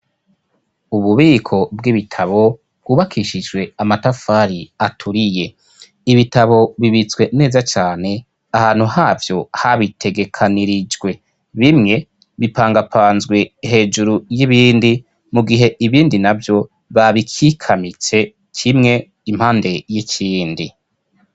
Ububiko bw'ibitabo bwubakishijwe amatafari aturiye ibitabo bibitswe neza cane ahantu havyo habitegekanirijwe bimwe bipangapanzwe hejuru y'ibindi mu gihe ibindi na vyo babikikamitse cimwe impandee ikindi.